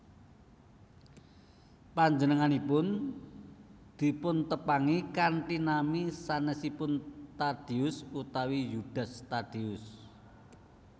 Panjenenganipun dipuntepangi kanthi nami sanèsipun Tadeus utawi Yudas Tadeus